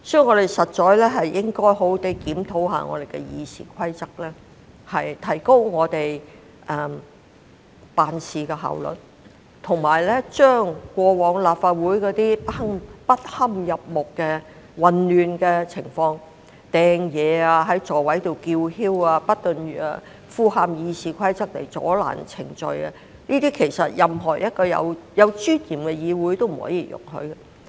我們實應好好檢討《議事規則》，提高我們的辦事效率，以及杜絕過往在立法會出現的種種不堪入目的混亂情況，例如擲物、在座位上叫囂、不斷濫用《議事規則》阻撓進行議事程序等，這些均是任何一個具尊嚴的議會所絕不容許的行為。